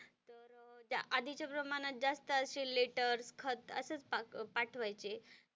त्या आधीच्या प्रमाणात जास्त असं लेटर्स खत असेच पाठवायचे.